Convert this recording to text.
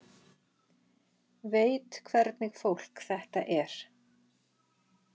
Veit hvernig fólk þetta er.